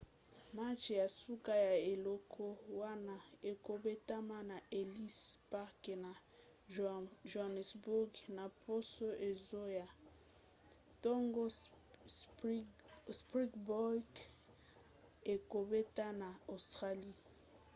match ya suka ya eleko wana ekobetama na ellis park na johannesburg na poso ezoya ntango springboks ekobeta na australie